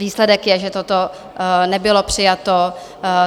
Výsledek je, že toto nebylo přijato.